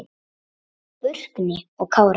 Burkni og Kári.